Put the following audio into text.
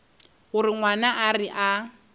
gore ngwana a re a